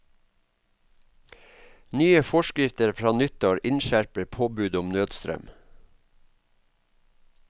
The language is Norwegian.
Nye forskrifter fra nyttår innskjerper påbudet om nødstrøm.